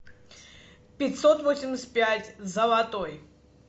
пятьсот восемьдесят пять золотой